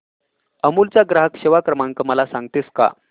अमूल चा ग्राहक सेवा क्रमांक मला सांगतेस का